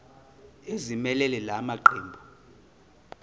ezimelele la maqembu